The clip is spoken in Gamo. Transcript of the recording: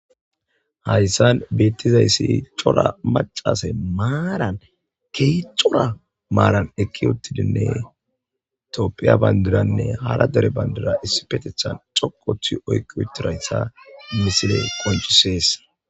hayssan beettizayssi cora macase maaran kehi cora maaran ekki uttidinne toppiya bandiranne hara dere bandira issi petethan coqothi oyqi uttirayta misile qoncisees